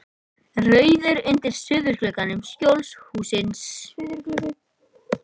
Rauðir undir suðurgluggum Skjólshússins.